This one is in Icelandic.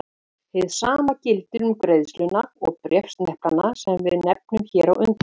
Hið sama gildir um greiðuna og bréfsneplana sem við nefndum hér á undan.